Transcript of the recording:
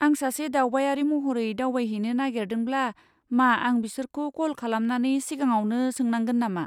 आं सासे दावबायारि महरै दावबायहैनो नागेरदोंब्ला मा आं बिसोरखौ कल खालामनानै सिगाङावनो सोंनांगोन नामा?